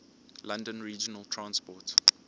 london regional transport